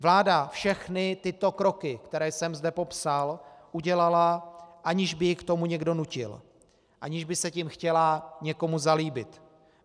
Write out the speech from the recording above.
Vláda všechny tyto kroky, které jsem zde popsal, udělala, aniž by ji k tomu někdo nutil, aniž by se tím chtěla někomu zalíbit.